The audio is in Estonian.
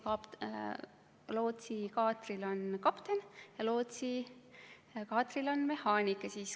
Lootsikaatril on kapten ja lootsikaatril on mehaanik.